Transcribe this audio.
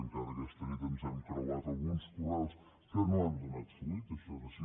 encara aquesta nit ens hem creuat alguns correus que no han donat fruit això és així